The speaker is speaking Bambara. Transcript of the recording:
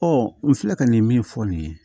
n filɛ ka nin min fɔ nin ye